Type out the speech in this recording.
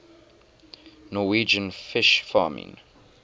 norwegian fish farming